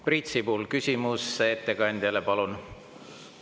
Priit Sibul, küsimus ettekandjale, palun!